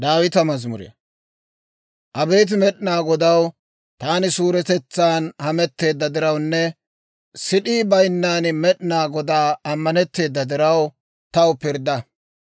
Abeet Med'inaa Godaw, taani suuretetsan hametteedda dirawunne, sid'ii bayinnan Med'inaa Godaa ammanetteeda diraw, taw pirddaa.